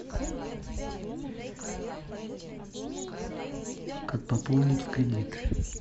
как пополнить в кредит